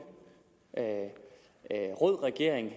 rød regering i